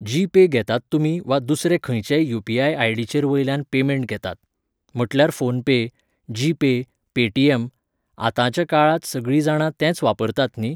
जी पे घेतात तुमी वा दुसरे खंयचेय युपीआय आयडीचेर वयल्यना पेमेंट घेतात. म्हटल्यार PhonePe, G pay, Paytm. आतांच्या काळांत सगळीं जाणां तेंच वापरतात न्ही